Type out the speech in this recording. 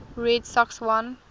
red sox won